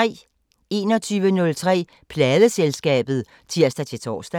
21:03: Pladeselskabet (tir-tor)